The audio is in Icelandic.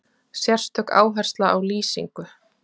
Sérstök áhersla á lýsingu.